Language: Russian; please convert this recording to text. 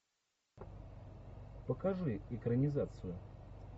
покажи экранизацию